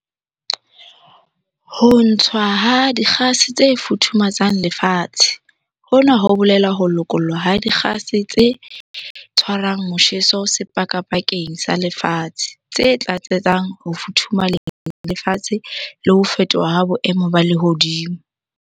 Ho ntshwa ha dikgase tse futhumatsang lefatshe. Hona ho bolela ho lokollwa ha dikgase tse tshwarang motjheso sepakapakeng sa lefatshe. Tse tlatsetsang ho futhumaleng lefatshe le ho fetoha ha boemo ba lehodimo.